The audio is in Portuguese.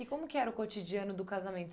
E como que era o cotidiano do casamento?